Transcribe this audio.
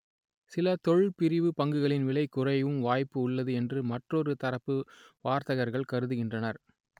சில தொழில் பிரிவு பங்குகளின் விலை குறையவும் வாய்ப்பு உள்ளது என்று மற்றொரு தரப்பு வர்த்தகர்கள் கருதுகின்றனர்